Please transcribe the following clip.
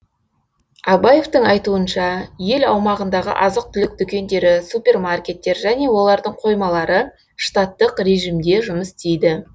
абаевтың айтуынша ел аумағындағы азық түлік дүкендері супермаркеттер және олардың қоймалары штаттық режимде жұмыс істейді